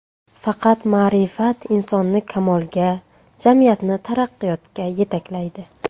Faqat ma’rifat insonni kamolga, jamiyatni taraqqiyotga yetaklaydi.